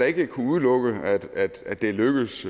ikke kunne udelukkes at det er lykkedes